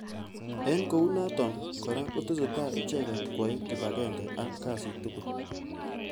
Eng kounotok kora kotesetai icheket kwai kipagenge ak.kasit tugul.